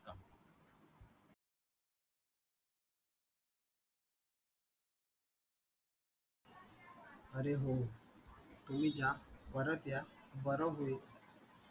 अरे हो, तुम्ही जा, परत या. बरं होईल.